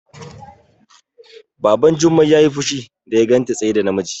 Baban Jummai yayi fushi da ya ganta tsaye da namiji